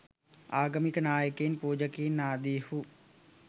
ආගමික නායකයින් පූජකයින් ආදීහු